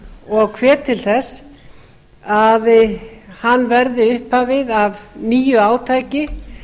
og hvet til þess að hann verði upphafið að nýju átaki